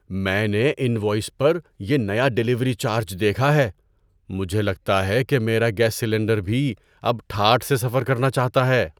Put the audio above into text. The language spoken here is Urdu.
میں نے انوائس پر یہ نیا ڈیلیوری چارج دیکھا ہے۔ مجھے لگتا ہے کہ میرا گیس سلنڈر بھی اب ٹھاٹھ سے سفر کرنا چاہتا ہے!